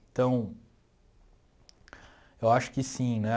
Então, eu acho que sim, né?